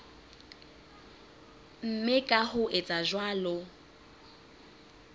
mme ka ho etsa jwalo